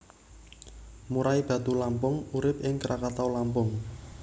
Murai batu Lampung urip ing Krakatau Lampung